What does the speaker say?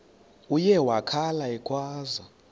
uye wakhala ekhwaza